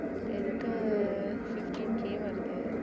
எனக்கு fifteen K வருது.